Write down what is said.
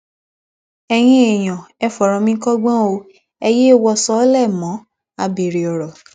ẹyin èèyàn ẹ fọrọ mi kọgbọn o ẹ yéé wò sọọ́lẹ̀ mọ́ abèrè ọrọ